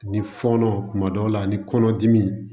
Ni fɔɔnɔ kuma dɔw la ni kɔnɔdimi